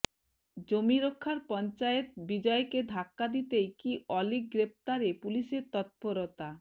জমি রক্ষার পঞ্চায়েত বিজয়কে ধাক্কা দিতেই কি অলীক গ্রেফতারে পুলিশের তৎপরতা